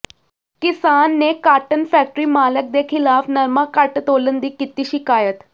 ਕਿਸਾਨ ਨੇ cotton factory ਮਾਲਕ ਦੇ ਖਿਲਾਫ਼ ਨਰਮਾ ਘੱਟ ਤੋਲਣ ਦੀ ਕੀਤੀ ਸ਼ਿਕਾਇਤ